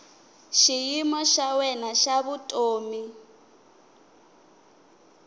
xiyimo xa wena xa vutomi